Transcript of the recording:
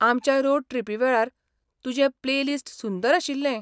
आमच्या रोड ट्रिपी वेळार तुजें प्लेलिस्ट सुंदर आशिल्लें.